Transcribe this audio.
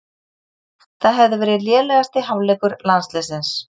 Það hefði verið lélegasti hálfleikur landsliðsins